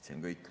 See on kõik.